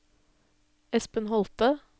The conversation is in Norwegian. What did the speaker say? Espen Holthe